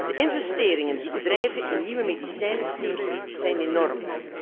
De investeringen die bedrijven in nieuwe medicijnen steken, zijn enorm.